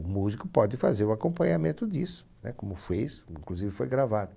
O músico pode fazer o acompanhamento disso, né? Como fuez, inclusive foi gravado.